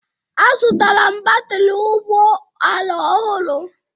Azụtara m batrị ụgbọ ala ọhụrụ